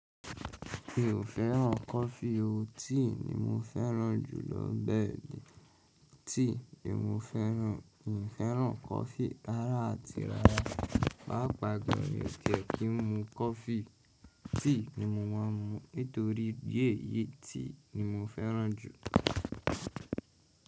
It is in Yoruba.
Mi ò fẹ́ràn coffee o, tea ni mo fẹ́ràn jù lọ bẹ́ẹ̀ni. Tea ni mo fẹ́ràn, mi ò fẹ́ràn coffee rárá àti rárá. Pàápàá gan, mi ò tiẹ kì í mu coffee, tea ni mo máa ń mu, nítorí ìdí èyí tea ni mo fẹ́ràn jù.